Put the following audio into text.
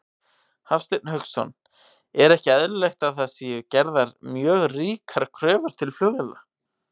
Hafsteinn Hauksson: Er ekki eðlilegt að það séu gerðar mjög ríkar kröfur til flugvéla?